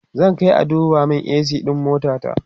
zan Kai a duba min a.c ɗin motata